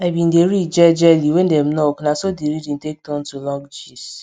i bin dey read jejely when dem knock na so the reading take turn to long gist